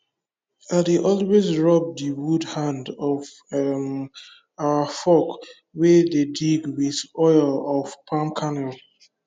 i dey always rub the wood hand of um our fork wey dey dig with oil of palm kernel